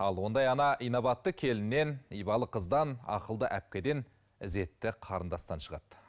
ал ондай ана инабатты келіннен ибалы қыздан ақылды әпкеден ізетті қарындастан шығады